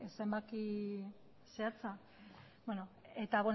zenbaki zehatza eta